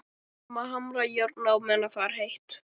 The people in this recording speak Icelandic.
Við verðum að hamra járnið meðan það er heitt.